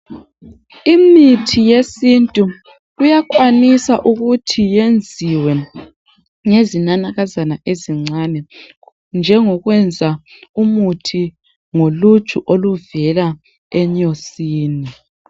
Imithi yesintu iyakwanisa ukuthi yenziwe ngezinanakazana ezincane , njengokwenza umuthi ngoluju oluvela enyosini.